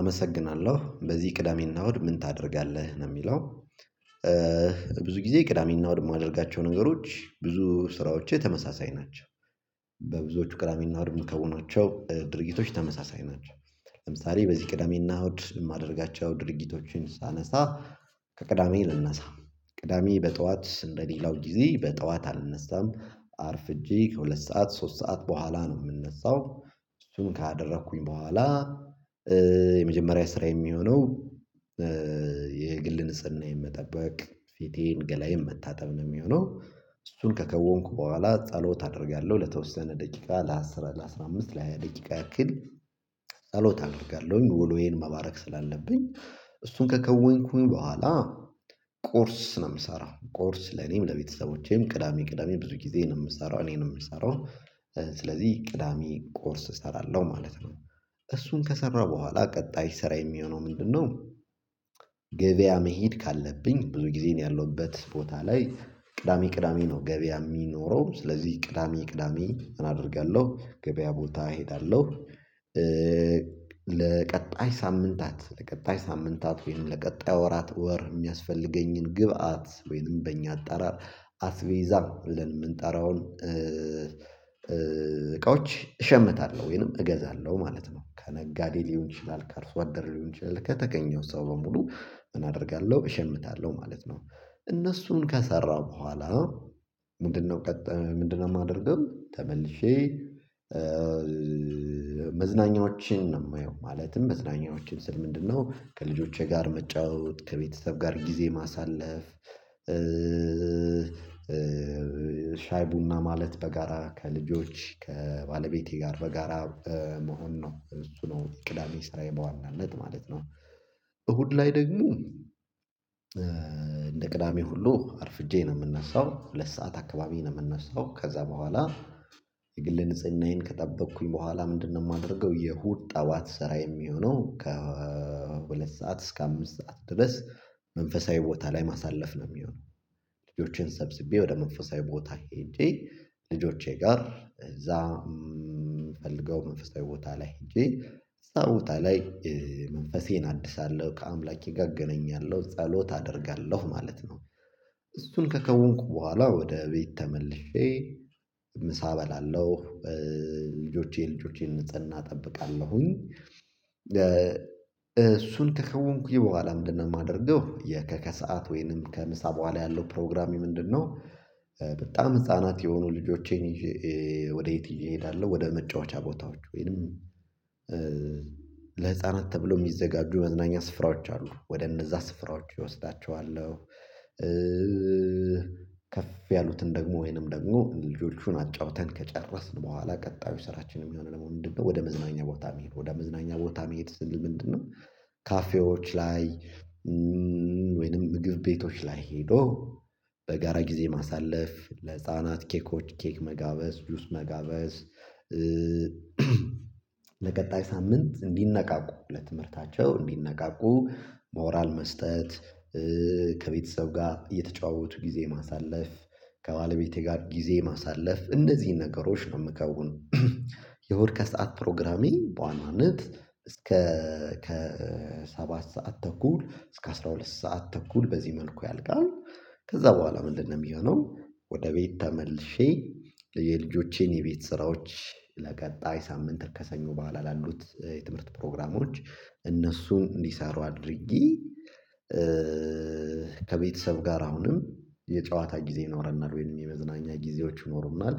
አመሰግናለሁ በዚህ ቅዳሜና እሁድ ምን ታደርጋለህ ለሚለው? ብዙ ጊዜ ቅዳሜና እሁድ የማደርጋቸው ነገሮች ብዙ ስራዎቼ ተመሳሳይ ናቸው። ብዙዎቹ ቅዳሜና እሁድ ምከውናቸው ድርጊቶች ተመሳሳይ ናቸው። ለምሳሌ በዚህ ቅዳሜና እሁድ የማደርጋቸው ድርጊቶችን ሳነሳ ከቅዳሜ ልነሳ ቅዳሜ በጠዋት እንደ ሌላው ጊዜ በጠዋት አልነሳም አርፍጄ ከሁለት ሰዓት ሶስት ሰዓት በኋላ ነው የምነሳው። እሱን ካደረኩኝ በኋላ የመጀመሪያ ስራዬ የሚሆነው የግል ንጽህና መጠበቅ ፊቴን ገላዬን መታጠብ ነው የሚሆነው። እሱን ከከወንኩ በኋላ ጸሎት አደርጋለሁ ለተወሰነ ደቂቃ ለአስር ለአስራ አምስት ለሃያ ደቂቃ ያክል ጸሎት አደርጋለሁኝ። ወሎዬን መባረክ ስላለብኝ እሱን ከከወንኩኝ በኋላ ቁርስ ነው የምሰራው ቁርስ ለኔም ለቤተሰቦቼም ቅዳሜ ቅዳሜ ብዙ ጊዜ ነው የምሰራው እኔ ነው የምሰራው ስለዚህ ቅዳሜ ቁርስ እሰራለሁ ማለት ነው። እሱን ከሰራ በኋላ ቀጣይ ስራዬ የሚሆነው ምንድነው? ገበያ መሄድ ካለብኝ ብዙ ጊዜን ያለሁበት ቦታ ላይ ቅዳሜ ቅዳሜ ነው ገበያ የሚኖረው ስለዚህ ቅዳሜ ቅዳሜ እንድት አደርጋለሁ ገበያ ቦታ እሄዳለሁ። ለቀጣይ ሳምንታት ለቀጣይ ሳምንታት ወይም ለቀጣይ ወራት ወር የሚያስፈልገኝን ግብአት ወይንም በእኛ አጣራር አስቤዛ ብለን የምንጠራውን እቃዎች እሸምታለሁ ወይንም እገዛለሁ ማለት ነው። ከነጋዴ ሊሆን ይችላል ከአርሶ አደር ሊሆን ይችላል ከተገኘው ሰው በሙሉ እንትን አደርጋለሁ እሸምታለሁ ማለት ነው። እነሱን ከሰራሁ በኋላ ምንድነው ምንድነው የማደርገው? ተመልሼ መዝናኛዎችን ነው የማየው ማለትም መዝናኛዎችን ስል ምንድነው ከልጆቼ ጋር መጫወት ከቤተሰብ ጋር ጊዜ ማሳለፍ ሻይ ቡና ማለት በጋራ ከልጆች ከባለቤቴ ጋር በጋራ መሆን ነው እሱ ነው ቅዳሜ ስራዬ በዋናነት ማለት ነው። እሁድ ላይ ደግሞ እንደ ቅዳሜ ሁሉ አርፍጄ ነው የምነሳው ሁለት ሰዓት አካባቢ ነው የምነሳው። ከዚያ በኋላ የግል ንጽህናዬን ከጠበቅኩኝ በኋላ ምንድነው የማደርገው? የእሁድ ጠዋት ስራዬ የሚሆነው ከሁለት ሰዓት እስከ አምስት ሰዓት ድረስ መንፈሳዊ ቦታ ላይ ማሳለፍ ነው የሚሆነው። ልጆቼን ሰብስቤ ወደ መንፈሳዊ ቦታ ሄጄ ልጆቼ ጋር እዛ ምፈልገው መንፈሳዊ ቦታ ላይ ሄጄ እዚያ ቦታ ላይ መንፈሴን አድሳለሁ ከአምላኬ ጋር እገነኛለሁ ጸሎት አደርጋለሁ ማለት ነው። እሱን ከከወንኩ በኋላ ወደ ቤት ተመልሼ ምሳ በላለሁ። ልጆቼ ልጆቼን ንጽህና እጠብቃለሁኝ እሱን ከከወንኩኝ በኋላ ምንድነው የማደርገው የከከሰዓት ወይንም ከምሳ በኋላ ያለው ፕሮግራሜ ምንድነው? በጣም ህፃናት የሆኑ ልጆቼን ይዤ ወደ የት ይዤ እሄዳለሁ? ወደ መጫወቻ ቦታዎች ወይንም ለህፃናት ተብሎ የሚዘጋጁ መዝናኛ ስፍራዎች አሉ ወደ እነዚያ ስፍራዎች እወስዳቸዋለሁ። ከፍ ያሉትን ደግሞ ወይንም ደግሞ ልጆቹን አጫውተን ከጨረስን በኋላ ቀጣዩ ስራችን የሚሆነው ደግሞ ምንድነው ወደ መዝናኛ ቦታ የሚሄድ ወደ መዝናኛ ቦታ ማሄድ ስንል ምንድነው? ካፌዎች ላይ ወይንም ምግብ ቤቶች ላይ ሄዶ በጋራ ጊዜ ማሳለፍ ለህፃናት ኬኮች ኬክ መጋበዝ ዱጁስ መጋበዝ። ለቀጣይ ሳምንት እንዲነቃቁ ለትምህርታቸው እንዲነቃቁ ሞራል መስጠት ከቤተሰብ ጋር እየተጫወቱ ጊዜ ማሳለፍ ከባለቤቴ ጋር ጊዜ ማሳለፍ እንደዚህ ነገሮች ነው የምከውን። እሁድ ከሰአት ፕሮግራሚንግ በዋናነት እስከ ከ ሰባት ሰዓት ተኩል እስከ አስራ ሁለት ሰዓት ተኩል በዚህ መልኩ ያልቃል። ከዚያ በኋላ ምንድነው የሚሆነው? ወደ ቤት ተመልሼ የልጆቼን የቤት ስራዎች ለቀጣይ ሳምንት ከሰኞ በዓል ላሉት የትምህርት ፕሮግራሞች እነሱን እንዲሰሩ አድርጊ ከቤተሰብ ጋር አሁንም የጨዋታ ጊዜ ይኖረናል ወይም የመዝናኛ ጊዜዎች ይኖሩናል